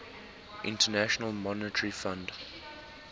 international monetary fund